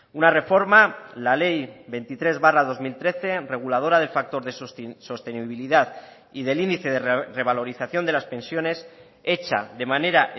una reforma la ley veintitrés barra dos mil trece reguladora del factor de sostenibilidad y del índice de revalorización de las pensiones hecha de manera